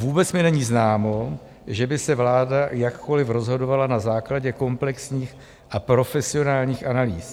Vůbec mi není známo, že by se vláda jakkoli rozhodovala na základě komplexních a profesionálních analýz.